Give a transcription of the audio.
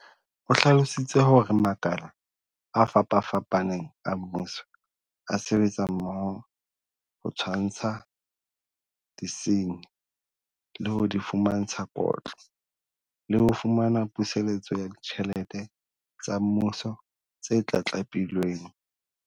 O hlalositse hore makala a fapafapaneng a mmuso a sebetsa mmoho ho tshwantsha disenyi, le ho di fumantsha kotlo, le ho fumana puseletso ya ditjhelete tsa Mmuso tse tlatlapilweng.